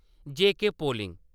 जेके polling